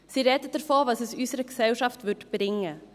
Sie sprechen davon, was es unserer Gesellschaft brächte.